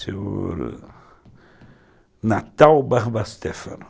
Seu Natal Barbastéfano.